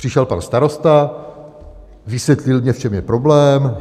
Přišel pan starosta, vysvětlil mně, v čem je problém.